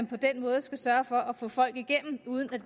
på den måde skal sørge for at få folk igennem uden at